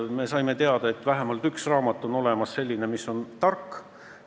Me saime teada, et on olemas vähemalt üks selline raamat, mis on tark.